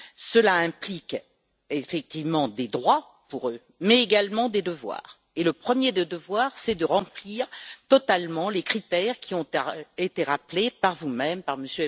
Cela implique effectivement des droits pour eux, mais également des devoirs, et le premier des devoirs est de remplir totalement les critères qui ont été rappelés par vous-même, par M.